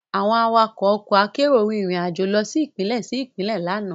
Àwọn awakọ̀ ọkọ akérò rìn rìn àjò lọ sí Ìpínlẹ̀ sí Ìpínlẹ̀ lánàá